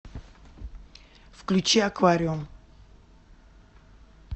включи аквариум